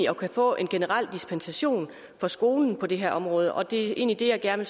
kunne få en generel dispensation for skolen på det her område og det er egentlig det jeg gerne